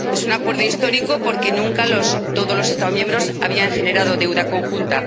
Es un acuerdo histórico porque nunca todos los Estados miembros habían generado deuda conjunta.